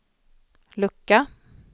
lucka